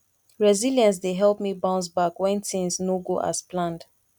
resilience dey help me bounce back when things no go as planned